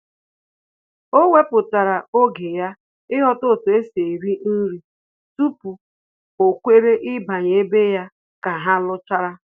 O weputara oge ya ịghọta otu esi eri nri tupu o kwere ịbanye ebe ya ka ha luchara